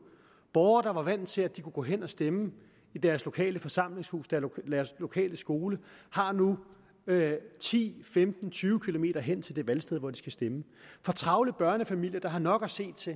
borgere der var vant til at de kunne gå hen og stemme i deres lokale forsamlingshus deres lokale skole har nu ti femten tyve km hen til det valgsted hvor de skal stemme for travle børnefamilier der har nok at se til